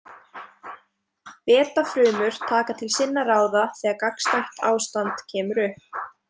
Beta-frumur taka til sinna ráða þegar gagnstætt ástand kemur upp.